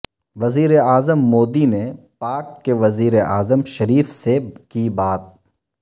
وزیر اعظم مودی نے پاک کے وزیر اعظم شریف سے کی بات